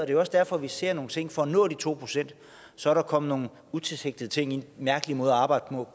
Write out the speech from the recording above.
er jo også derfor vi ser nogle ting for at nå de to procent så er der kommet nogle utilsigtede ting til mærkelige måder at arbejde